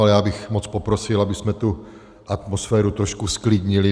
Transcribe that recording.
Ale já bych moc poprosil, abychom tu atmosféru trošku zklidnili.